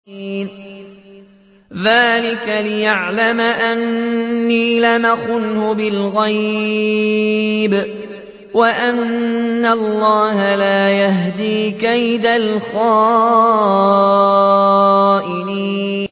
ذَٰلِكَ لِيَعْلَمَ أَنِّي لَمْ أَخُنْهُ بِالْغَيْبِ وَأَنَّ اللَّهَ لَا يَهْدِي كَيْدَ الْخَائِنِينَ